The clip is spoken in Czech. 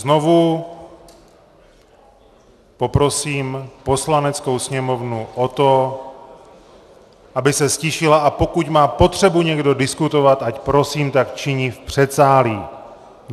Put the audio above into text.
Znovu poprosím Poslaneckou sněmovnu o to, aby se ztišila, a pokud má potřebu někdo diskutovat, ať prosím tak činí v předsálí.